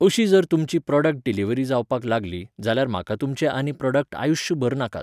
अशी जर तुमची प्रोडक्ट डिलिवरी जावपाक लागली, जाल्यार म्हाका तुमचे आनी प्रोडक्टआयुश्यभर नाकात